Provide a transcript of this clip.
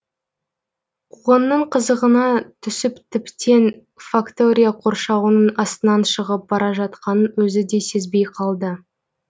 қуғынның қызығына түсіп тіптен фактория қоршауының астынан шығып бара жатқанын өзі де сезбей қалды